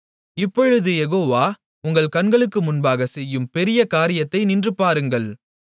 இப்பொழுது யெகோவா உங்கள் கண்களுக்கு முன்பாகச் செய்யும் பெரிய காரியத்தை நின்று பாருங்கள்